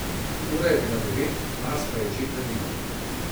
Ura je bila devet, nas pa je že hladilo.